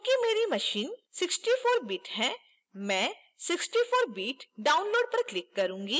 चूंकि मेरी machine 64bit है मैं 64bit download पर click करूंगी